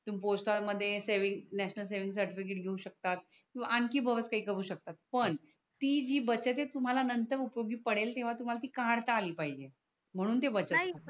तुम्ही पोस्ट मध्ये national saving certificate घेऊ शकतात व आणखि बोत काही करू शकतात पण ती जी बचत आहे तुम्हाला नंतर उपयोगी पडेल तेव्हा तुम्हाला ती कडता आली पाहिजे म्हणून ती बचत आहे नाही